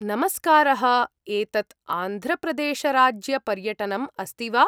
नमस्कारः, एतत् आन्ध्रप्रदेशराज्यपर्यटनम् अस्ति वा?